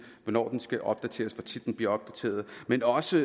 hvornår den skal opdateres hvor tit den bliver opdateret men også